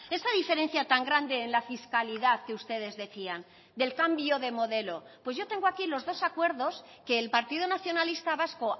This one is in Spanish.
esa diferencia tan grande en la fiscalidad que ustedes decían del cambio de modelo pues yo tengo aquí los dos acuerdos que el partido nacionalista vasco